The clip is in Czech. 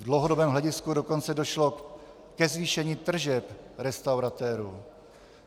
V dlouhodobém hledisku dokonce došlo ke zvýšení tržeb restauratérů.